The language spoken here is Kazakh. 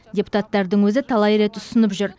депутаттардың өзі талай рет ұсынып жүр